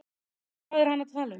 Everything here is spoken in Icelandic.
En hvað er hann að tala um?